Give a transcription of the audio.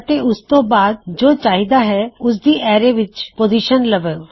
ਅਤੇ ਉਸਤੋਂ ਬਾਆਦ ਜੋ ਚਾਹੀਦਾ ਹੈ ਉਸਦੀ ਐਰੇ ਵਿੱਚ ਪੋਜ਼ੀਸ਼ਨ ਲਵੋ